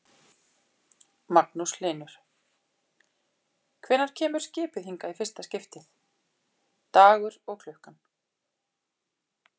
Magnús Hlynur: Hvenær kemur skipið hingað í fyrsta skiptið, dagur og klukkan?